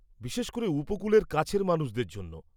বিশেষ করে উপকূলের কাছের মানুষদের জন্য।